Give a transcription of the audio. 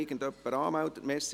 Wir kommen zum Traktandum 17.